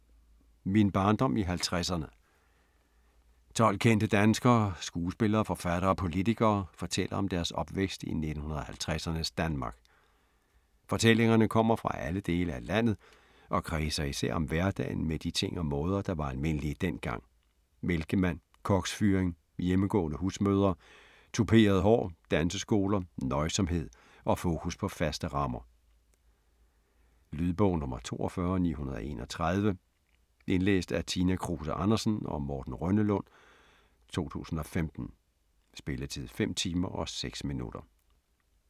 Min barndom i 50'erne 12 kendte danskere, skuespillere, forfattere, politikere, fortæller om deres opvækst i 1950'ernes Danmark. Fortællingerne kommer fra alle dele af landet og kredser især om hverdagen med de ting og måder, der var almindelige dengang. Mælkemand, koksfyring, hjemmegående husmødre, touperet hår, danseskoler, nøjsomhed og fokus på faste rammer. Lydbog 42931 Indlæst af Tina Kruse Andersen og Morten Rønnelund, 2015. Spilletid: 5 timer, 6 minutter.